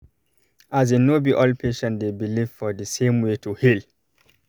as in no be all patient dey believe for the same way to heal